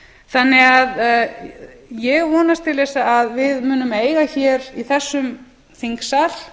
friðhelginnar eftir facebook ég vonast til þess að við munum eiga hér í þessum þingsal